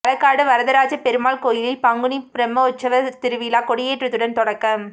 களக்காடு வரதராஜ பெருமாள் கோயிலில் பங்குனி பிரமோற்சவ திருவிழா கொடியேற்றத்துடன் தொடக்கம்